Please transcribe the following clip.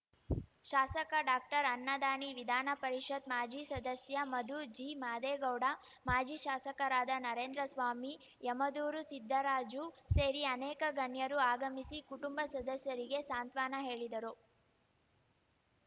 ಶಾಸಕ ಡಾಅನ್ನದಾನಿ ವಿಧಾನ ಪರಿಷತ್‌ ಮಾಜಿ ಸದಸ್ಯ ಮಧು ಜಿಮಾದೇಗೌಡ ಮಾಜಿ ಶಾಸಕರಾದ ನರೇಂದ್ರಸ್ವಾಮಿ ಯಮದೂರು ಸಿದ್ದರಾಜು ಸೇರಿ ಅನೇಕ ಗಣ್ಯರು ಆಗಮಿಸಿ ಕುಟುಂಬ ಸದಸ್ಯರಿಗೆ ಸಾಂತ್ವನ ಹೇಳಿದರು